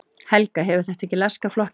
Helga: Hefur þetta ekki laskað flokkinn?